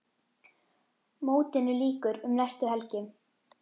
Mótinu lýkur um næstu helgi.